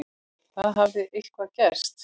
Það hafði eitthvað gerst.